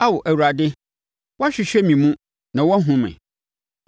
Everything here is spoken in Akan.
Ao Awurade, woahwehwɛ me mu na woahunu me.